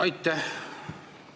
Aitäh!